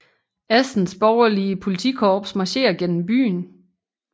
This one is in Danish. Assens borgerlige politikorps marcherer gennem byen